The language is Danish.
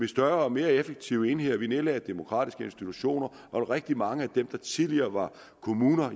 større og mere effektive enheder vi nedlagde demokratiske institutioner og rigtig mange af dem der tidligere var kommuner